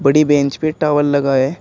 T bench पे tower लगा है।